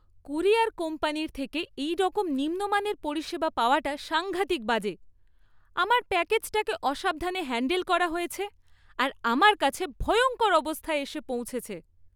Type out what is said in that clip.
Courier কোম্পানির থেকে এইরকম নিম্ন মানের পরিষেবা পাওয়াটা সাংঘাতিক বাজে। আমার প্যাকেজটাকে অসাবধানে হ্যান্ডেল করা হয়েছে আর আমার কাছে ভয়ঙ্কর অবস্থায় এসে পৌঁছেছে!